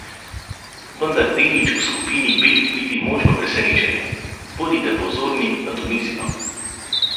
Vendar Denič v skupini B vidi možno presenečenje: "Bodite pozorni na Tunizijo.